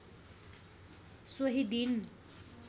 सोही दिन